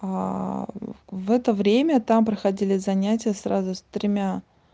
в это время там проходили занятия сразу с тремя